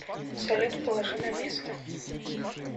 салют положи на место